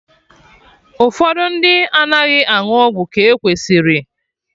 Ụfọdụ ndị anaghị aṅụ ọgwụ ka e kwesịrị